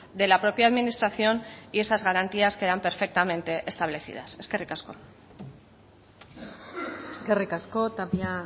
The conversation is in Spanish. de la propia administración y esas garantías quedan perfectamente establecidas eskerrik asko eskerrik asko tapia